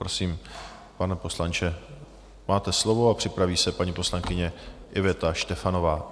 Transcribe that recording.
Prosím, pane poslanče, máte slovo a připraví se paní poslankyně Iveta Štefanová.